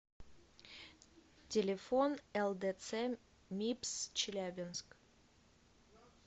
телефон лдц мибс челябинск